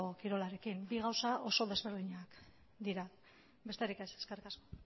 kirolarekin ere ez bi gauza oso ezberdinak dira besterik ez eskerrik asko